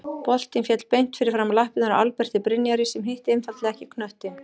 Boltinn féll beint fyrir framan lappirnar á Alberti Brynjari sem hitti einfaldlega ekki knöttinn.